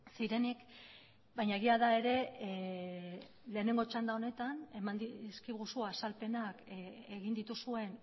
zirenik baina egia da ere lehenengo txanda honetan eman dizkiguzu azalpenak egin dituzuen